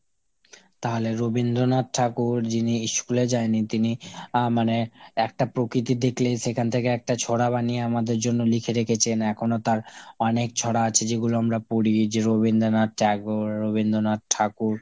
তাহলে রবীন্দ্রনাথ ঠাকুর যিনি ইস্কুলে যায়নি তিনি আহ মানে একটা প্রকৃতি দেখলেই সেখান থেকে একটা ছড়া বানিয়ে আমাদের জন্য লিখে রেখেছেন। এখনো তার অনেক ছড়া আছে যেগুলো আমরা পড়ি। যে Rabindranath Tagore, রবীন্দ্রনাথ ঠাকুর,